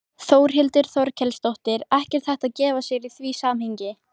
Þórhildur Þorkelsdóttir: Ekkert hægt að gefa sér í því samhengi?